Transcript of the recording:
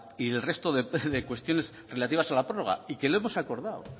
y el resto de cuestiones relativas a la prórroga y que lo hemos acordado